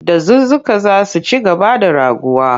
Dazuzzuka za su ci gaba da raguwa.